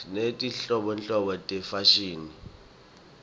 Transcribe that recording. sinetinhlobonhlobo tefashini